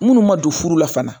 Minnu ma don furu la fana